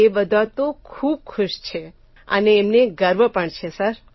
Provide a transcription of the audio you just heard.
એ બધા તો ખૂબ ખુશ છે અને એમને ગર્વ પણ છે સર